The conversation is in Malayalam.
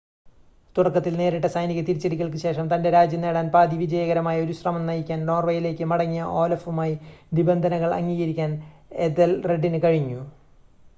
തുടക്കത്തിൽ നേരിട്ട സൈനിക തിരിച്ചടികൾക്ക് ശേഷം തൻ്റെ രാജ്യം നേടാൻ പാതി വിജയകരമായ ഒരു ശ്രമം നയിക്കാൻ നോർവേയിലേക്ക് മടങ്ങിയ ഓലഫുമായി നിബന്ധനകൾ അംഗീകരിക്കാൻ എഥെൽറെഡിന് കഴിഞ്ഞു